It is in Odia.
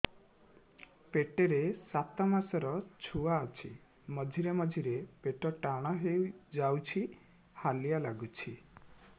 ପେଟ ରେ ସାତମାସର ଛୁଆ ଅଛି ମଝିରେ ମଝିରେ ପେଟ ଟାଣ ହେଇଯାଉଚି ହାଲିଆ ଲାଗୁଚି